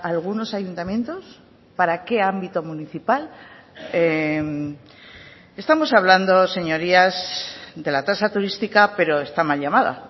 algunos ayuntamientos para qué ámbito municipal estamos hablando señorías de la tasa turística pero está mal llamada